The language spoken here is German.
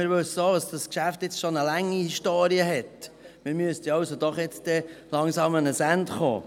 Wir wissen auch, dass das Geschäft jetzt schon eine lange Historie hat, also müssten wir jetzt doch langsam zu einem Ende kommen.